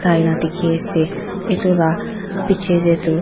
Tai laga dekhi ase etu laga piche te tu--